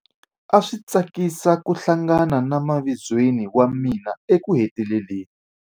A swi tsakisa ku hlangana na mavizweni wa mina ekuheteleleni.